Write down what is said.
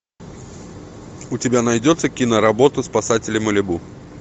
у тебя найдется киноработа спасатели малибу